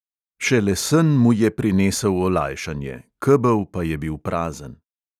Šele sen mu je prinesel olajšanje, kebel pa je bil prazen.